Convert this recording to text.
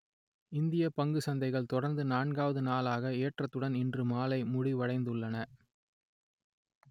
இந்திய பங்குச் சந்தைகள் தொடர்ந்து நான்குவது நாளாக ஏற்றத்துடன் இன்று மாலை முடிவடைந்துள்ளன